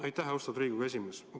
Aitäh, austatud Riigikogu esimees!